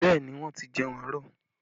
Bẹẹ ni, wọ́n ti jẹun àárọ̀